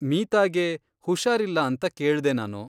ಮೀತಾಗೆ ಹುಷಾರಿಲ್ಲ ಅಂತ ಕೇಳ್ದೆ ನಾನು.